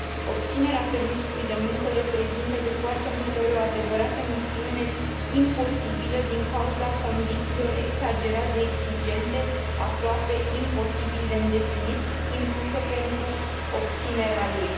Obținerea permisului de muncă reprezintă de foarte multe ori o adevărată misiune imposibilă, din cauza condițiilor exagerat de exigente, aproape imposibil de îndeplinit, impuse pentru obținerea lui.